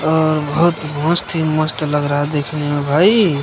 अ बहुत मस्त ही मस्त लग रहा है देखने में भाई।